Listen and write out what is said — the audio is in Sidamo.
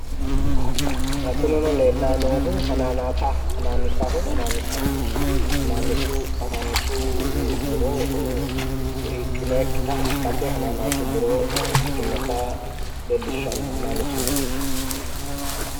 Xa kunino leellanni noohu hanaanisa hananisa hananaasu muro woyi hiiqqinoyikkita gate hananasu muro ikkitinota leellishshanno hananisu muro